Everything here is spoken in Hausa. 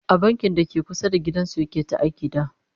a bankin dake kusa da gidan su yake ta aiki da